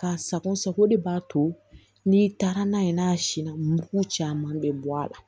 Ka sako sago de b'a to n'i taara n'a ye n'a sinna mugu caman bɛ bɔ a la